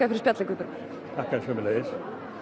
fyrir spjallið Guðbergur þakka þér sömuleiðis